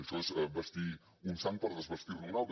això és vestir un sant per desvestir ne un altre